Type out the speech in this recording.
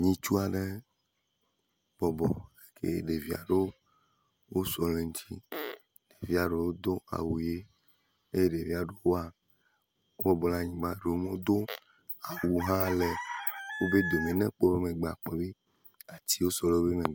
Ŋutsu aɖe bɔbɔ ye ɖevi aɖewo wosɔ ɖe eŋuti. Ɖevia ɖewo do awu ʋi ye ɖevia ɖewo wo bɔbɔ ɖe anyigba eye ɖewo hã womedo awu hã le wobe dome ne ekpɔ wo megbea akpɔ be atiwo sɔ ɖe wo megbe.